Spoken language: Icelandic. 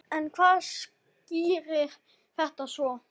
En hvað skýrir þetta svo?